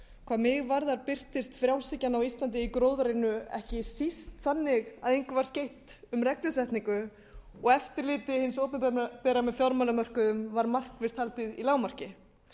hvað mig varðar birtist frjálshyggjan á íslandi í gróðærinu ekki síst þannig að engu var skeytt um reglusetningu og eftirliti hins opinbera með fjármálamörkuðum var markvisst haldið í lágmarki